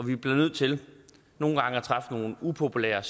vi bliver nødt til nogle gange at træffe nogle upopulære